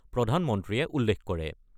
প্ৰধানমন্ত্ৰীয়ে উল্লেখ কৰে।